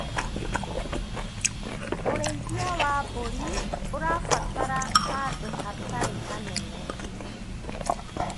ũrĩithia wa mbũri ũrabatara handũ hatarĩ hanene.